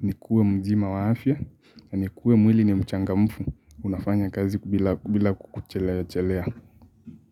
nikuwe mzima wa afya. Na nikuwe mwili ni mchangamfu, unafanya kazi bila kuchelewa chelewa.